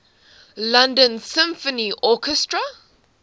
london symphony orchestra